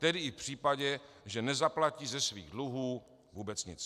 Tedy i v případě, že nezaplatí ze svých dluhů vůbec nic.